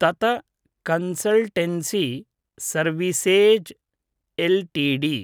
तत consultancy services LTD